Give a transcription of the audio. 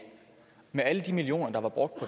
med alle de millioner der var brugt